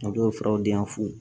O dɔw furaw diyafu